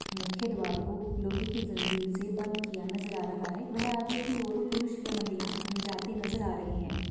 मुख्य द्वार को लोहे की जंजीर से बंद किया नज़र आ रहा है व आगे की ओर कुछ पुरुष व महिला जाते नज़र आ रहे है।